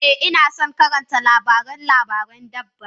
Eh, Ina son karanta labarin labarin dabba.